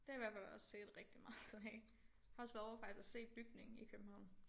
Det har jeg i hvert fald også set rigtig meget af har også været ovre faktisk og se bygningen i København